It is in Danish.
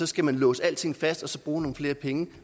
skal man låse alting fast og så bruge nogle flere penge